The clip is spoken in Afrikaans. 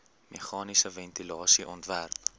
meganiese ventilasie ontwerp